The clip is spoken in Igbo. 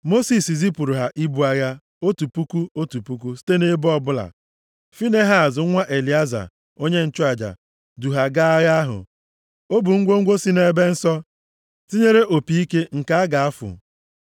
Mosis zipụrụ ha ibu agha, otu puku, otu puku site nʼebo ọbụla. Finehaz nwa Elieza, onye nchụaja, du ha gaa agha ahụ. O bu ngwongwo si nʼebe nsọ, tinyere opi ike nke a ga-afụ.